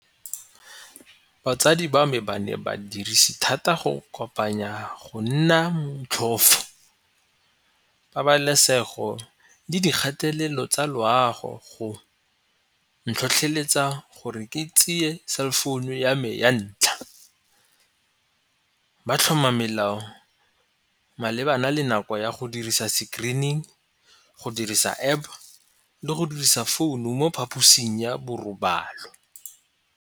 Batsadi ba mme ba ne badirisi thata go kopanya go nna motlhofo pabalesego le dikgatelelo tsa loago, go ntlhotlheletsa gore ke tseye cell phone ya me ya ntlha ba tlhoma melao malebana le nako ya go dirisa screening go dirisa App le go dirisa founu mo phaposing ya borobalo.